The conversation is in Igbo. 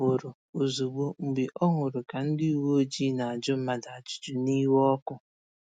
Ọ pụrụ̀ ozugbò mgbe ọ hụrụ ka ndị ụ̀wẹ̀ọjịị na-ajụ mmadụ ajụjụ n'iwe ọkụ